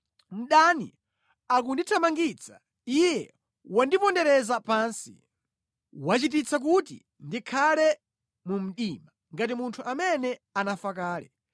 Mdani akundithamangitsa, iye wandipondereza pansi; wachititsa kuti ndikhale mu mdima ngati munthu amene anafa kale.